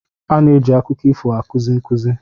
A na-eji akụkọ ifo na-akụzi nkuzi.